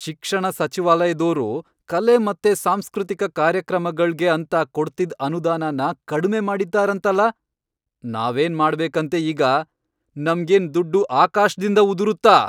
ಶಿಕ್ಷಣ ಸಚಿವಾಲಯ್ದೋರು ಕಲೆ ಮತ್ತೆ ಸಾಂಸ್ಕೃತಿಕ ಕಾರ್ಯಕ್ರಮಗಳ್ಗೆ ಅಂತ ಕೊಡ್ತಿದ್ ಅನುದಾನನ ಕಡ್ಮೆ ಮಾಡಿದಾರಂತಲ್ಲ, ನಾವೇನ್ ಮಾಡ್ಬೇಕಂತೆ ಈಗ, ನಮ್ಗೇನ್ ದುಡ್ಡು ಆಕಾಶ್ದಿಂದ ಉದುರುತ್ತಾ?!